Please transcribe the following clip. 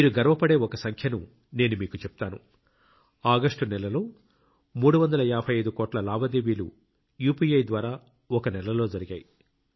మీరు గర్వపడే ఒక సంఖ్యను నేను మీకు చెప్తాను ఆగస్టు నెలలో 355 కోట్ల లావాదేవీలు యూపీఐ ద్వారా ఒక నెలలో జరిగాయి